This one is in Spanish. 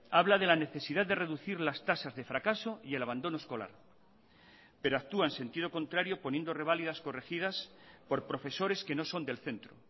habla de la necesidad de reducir las tasas de fracaso y el abandono escolar pero actúa en sentido contrario poniendo reválidas corregidas por profesores que no son del centro